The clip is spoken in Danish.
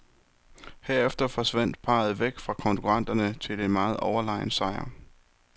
Herefter forsvandt parret væk fra konkurrenterne til en meget overlegen sejr.